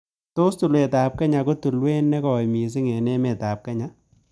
Tos' tulwetap kenya ko tulewet ne goi misiing' eng' emetap kenya